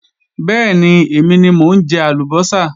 Bẹ́ẹ̀ni, èmi ni mo ń jẹ àlùbọ́sà